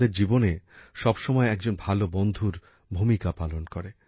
আমাদের জীবনে সব সময় একজন ভালো বন্ধুর ভূমিকা পালন করে